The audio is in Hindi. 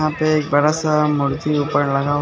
यहां पे एक बड़ा सा मूर्ति ऊपर लगा--